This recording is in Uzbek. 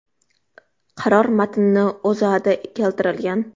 Qaror matni O‘zAda keltirilgan.